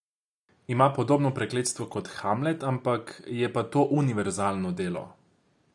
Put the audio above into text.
Ima podobno prekletstvo kot Hamlet, ampak je pa to univerzalno delo.